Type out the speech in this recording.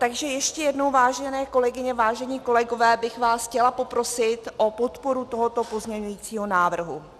Takže ještě jednou, vážené kolegyně, vážení kolegové, bych vás chtěla poprosit o podporu tohoto pozměňujícího návrhu.